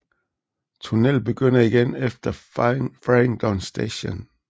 Tunnel begynder igen efter Farringdon Station